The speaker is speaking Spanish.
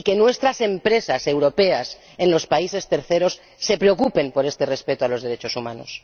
Y que nuestras empresas europeas en los terceros países se preocupen por este respeto de los derechos humanos.